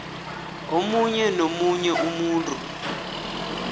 omunye nomunye umuntu